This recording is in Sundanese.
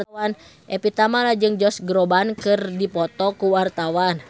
Evie Tamala jeung Josh Groban keur dipoto ku wartawan